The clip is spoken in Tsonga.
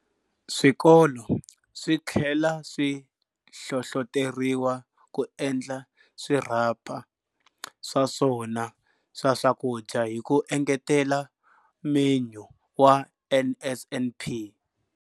Swikolo swi tlhela swi hlohloteriwa ku endla swirhapa swa swona swa swakudya ku engetela menyu wa NSNP.